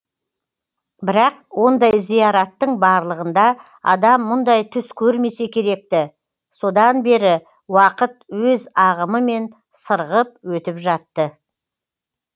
бірақ ондай зияраттың барлығында адам мұндай түс көрмесе керек ті содан бері уақыт өз ағымымен сырғып өтіп жатты